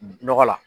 Nɔgɔ la